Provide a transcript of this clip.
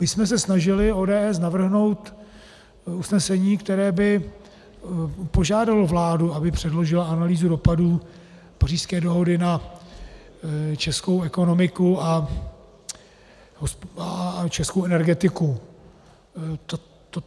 My jsme se snažili, ODS, navrhnout usnesení, které by požádalo vládu, aby předložila analýzu dopadů Pařížské dohody na českou ekonomiku a českou energetiku.